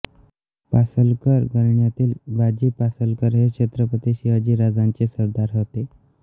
पासलकर घराण्यातील बाजी पासलकर हे छत्रपती शिवाजीराजांचे सरदार होते